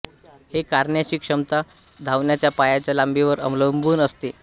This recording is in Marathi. हे करण्याची क्षमता धावण्याच्या पायाच्या लांबीवर अवलंबून असते